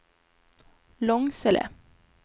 Långsele